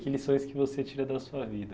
Que lições que você tira da sua vida?